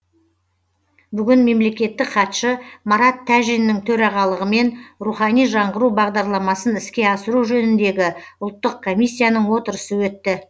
бүгін мемлекеттік хатшы марат тәжиннің төрағалығымен рухани жаңғыру бағдарламасын іске асыру жөніндегі ұлттық комиссияның отырысы өтті